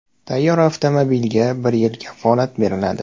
Tayyor avtomobilga bir yil kafolat beriladi.